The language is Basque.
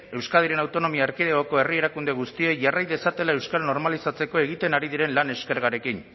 euskadiren autonomia erkidegoko herri erakunde guztiei jarrai dezatela euskara normalizatzeko egiten ari diren lan eskergarekin